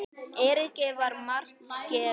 Eiríki var margt gefið.